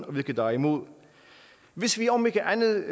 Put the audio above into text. og hvilke der er imod hvis vi om ikke andet